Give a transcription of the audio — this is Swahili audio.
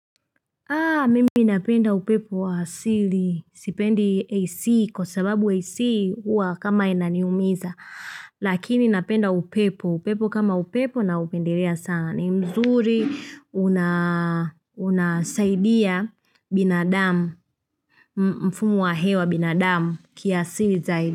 Mimi napenda upepo wa asili, sipendi AC, kwa sababu AC hua kama inaniumiza, lakini inapenda upepo, upepo kama upepo na upendelea sana, ni mzuri unasaidia binadamu, mfumo wa hewa binadamu kiaasili zaidi.